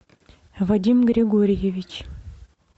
вадим григорьевич